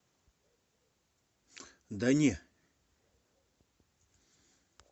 да не